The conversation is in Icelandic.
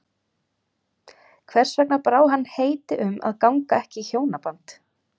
Hvers vegna brá hann heiti um að ganga ekki í hjónaband?